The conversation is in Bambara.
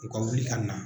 U ka wuli ka na